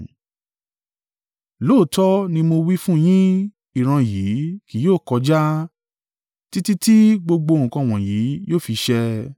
Lóòótọ́ ni mo wí fún yín, ìran yìí kì yóò kọjá títí tí gbogbo nǹkan wọ̀nyí yóò fi ṣẹ.